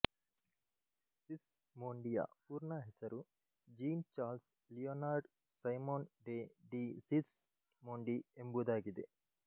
ಸಿಸ್ ಮೋಂಡಿಯ ಪೂರ್ಣ ಹೆಸರು Jean Charles Leonard Simonde de ಡಿ ಸಿಸ್ ಮೋಂಡಿ ಎಂಬುದಾಗಿದೆ